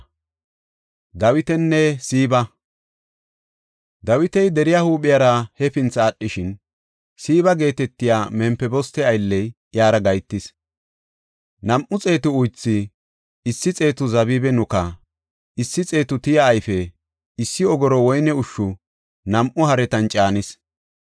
Dawiti deriya huuphiyara hefinthi aadhishin, Siiba geetetiya Mempiboste aylley iyara gahetis. Nam7u xeetu uythu, issi xeetu zabibe nuka, issi xeetu tiya ayfe, issi ogoro woyne ushshu nam7u haretan caanis.